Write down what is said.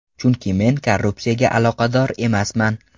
Chunki men korrupsiyaga aloqador emasman.